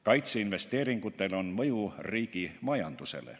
Kaitseinvesteeringutel on mõju riigi majandusele.